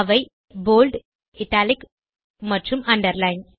அவை bold italic மற்றும் underline